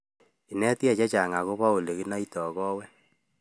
Inetkei chechang akopo olekinoitoi kawek